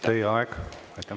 Teie aeg!